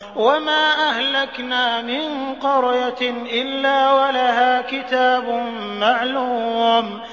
وَمَا أَهْلَكْنَا مِن قَرْيَةٍ إِلَّا وَلَهَا كِتَابٌ مَّعْلُومٌ